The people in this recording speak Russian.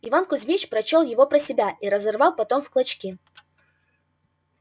иван кузмич прочёл его про себя и разорвал потом в клочки